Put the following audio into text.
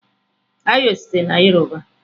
Ayo sitere na yoruba.